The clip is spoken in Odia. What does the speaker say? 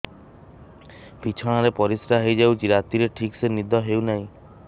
ବିଛଣା ରେ ପରିଶ୍ରା ହେଇ ଯାଉଛି ରାତିରେ ଠିକ ସେ ନିଦ ହେଉନାହିଁ